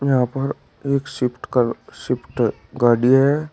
यहां पर एक शिफ्ट स्विफ्ट गाड़ी है।